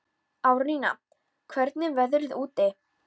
Árnína, hvernig er veðrið úti?